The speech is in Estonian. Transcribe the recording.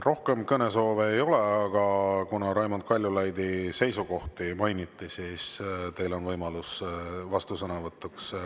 Rohkem kõnesoove ei ole, aga kuna Raimond Kaljulaidi seisukohti mainiti, siis teil on võimalus vastusõnavõtuks.